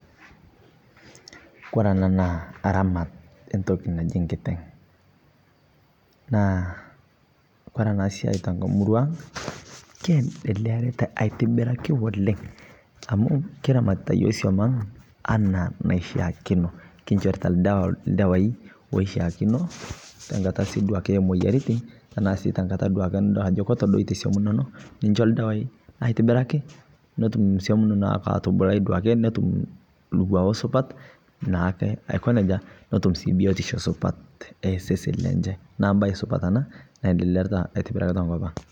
Kore ana naa aramaat e ntoki najii nkiteng' . Naa kore ana siai te murua ang naa keendelearita atibiraki oleng amu kiramatita yoo somaang' anaa naishakino. Kishorita eldewa eldewai oshaakino te nkaata sii duake e moyaritin taa sii duake te nkaata nitodolo ajo ketodootie somuun enono nishoo eldewa aitibiraki, netuum somuun nono atubulai duake. Netuum lng'uao supaat naake ako neeja notuum sii biutisho supaat e sesen lenye. Naa baye supaat ana naendeleerita aitibiraki te nkopang.